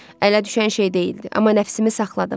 Ələ düşən şey deyildi, amma nəfsimi saxladım.